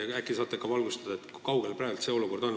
Äkki saate valgustada, kui kaugel see praegu on?